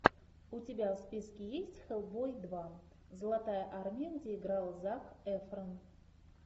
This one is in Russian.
у тебя в списке есть хэллбой два золотая армия где играл зак эфрон